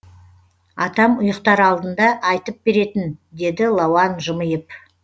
атам ұйықтар алдында айтып беретін деді лауан жымиып